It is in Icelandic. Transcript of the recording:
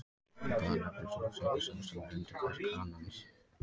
Hvað nefnist húðsepi sá sem er undir kverk hanans?